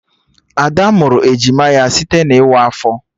Ada mụrụ ejima ya site na ịwa afọ